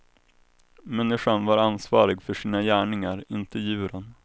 Människan var ansvarig för sina gärningar, inte djuren.